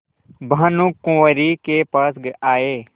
भानुकुँवरि के पास आये